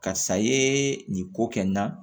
Karisa ye nin ko kɛ n na